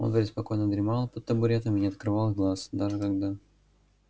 он преспокойно дремал под табуретом и не открывал глаз даже когда